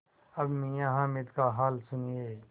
अब मियाँ हामिद का हाल सुनिए